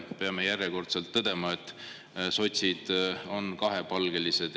Peame järjekordselt tõdema, et sotsid on kahepalgelised.